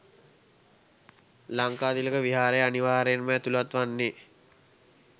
ලංකාතිලක විහාරය අනිවාර්යයෙන්ම ඇතුළත් වන්නේ